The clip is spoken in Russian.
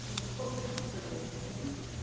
охотно с поездками